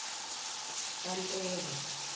kantaka